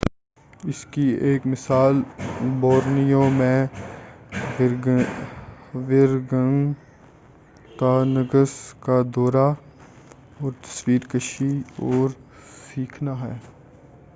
اس کی ایک مثال بورنیو میں ورگنگتانگس کا دورہ تصویر کشی اور سیکھنا ہے